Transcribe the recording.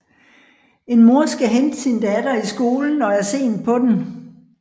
En mor skal hente sin datter i skolen og er sent på den